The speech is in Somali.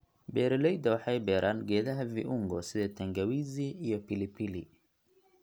Beeraleyda waxay beeraan geedaha viungo sida tangawizi iyo pilipili.